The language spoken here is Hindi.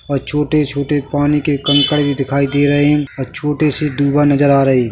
और छोटे-छोटे पानी के कंकर भी दिखाई दे रहे है और छोटे से धुआ नजर आ रहे ।